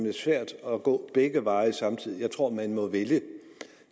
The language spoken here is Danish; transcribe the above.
er svært at gå begge veje samtidig jeg tror man må vælge